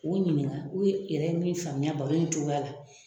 K'u ɲininka n'u yɛrɛ ye min faamuya baro in cogoya la.